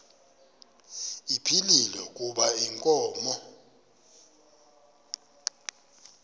ephilile kuba inkomo